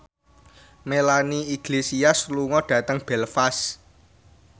Melanie Iglesias lunga dhateng Belfast